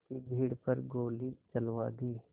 की भीड़ पर गोली चलवा दी